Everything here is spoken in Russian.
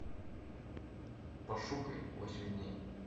пошукай восемь дней